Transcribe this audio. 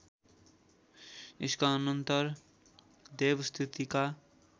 यसका अनन्तर देवस्तुतिका